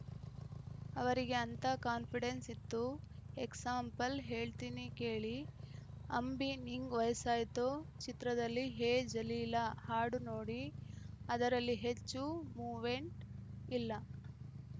ಅವರಿಗೆ ಅಂತ ಕಾನ್ಪಿಡೆನ್ಸ್‌ ಇತ್ತು ಎಕ್ಸಾಂಪಲ್‌ ಹೇಳ್ತೀನಿ ಕೇಳಿ ಅಂಬಿ ನಿಂಗ್‌ ವಯಸ್ಸಾಯ್ತೋ ಚಿತ್ರದಲ್ಲಿ ಹೇ ಜಲೀಲ ಹಾಡು ನೋಡಿ ಅದರಲ್ಲಿ ಹೆಚ್ಚು ಮೂವೆಂಟ್‌ ಇಲ್ಲ